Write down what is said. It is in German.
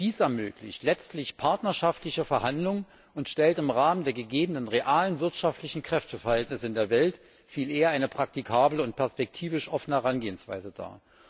Dies ermöglicht letztlich partnerschaftliche Verhandlungen und stellt im Rahmen der gegebenen realen wirtschaftlichen Kräfteverhältnisse in der Welt viel eher eine praktikable und perspektivisch offene Herangehensweise dar.